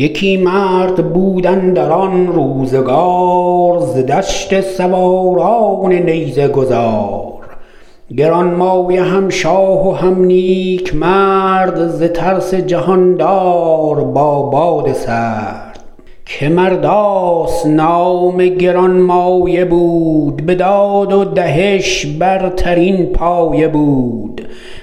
یکی مرد بود اندر آن روزگار ز دشت سواران نیزه گذار گرانمایه هم شاه و هم نیک مرد ز ترس جهاندار با باد سرد که مرداس نام گرانمایه بود به داد و دهش برترین پایه بود